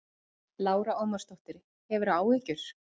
Lára Ómarsdóttir: Hefurðu áhyggjur?